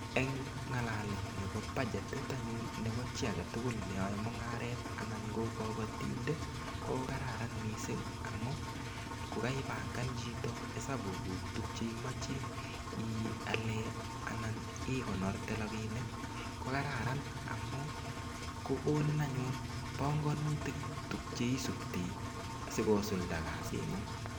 Eng ngalalet nebo badgetit anyun nebo chi age tugul ne yoe mungaret anan ko kapatin ko kararan mising amu kokaipangan chito esapukuk tukcheimoche ial ana ikonorte rapinik ko kararan amu kokonin anyun panganutik tukche isupte sikosulda kasingung.